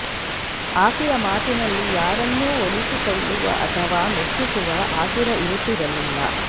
ಆಕೆಯ ಮಾತಿನಲ್ಲಿ ಯಾರನ್ನೂ ಒಲಿಸಿಕೊಳ್ಳುವ ಅಥವಾ ಮೆಚ್ಚಿಸುವ ಆತುರ ಇರುತ್ತಿರಲಿಲ್ಲ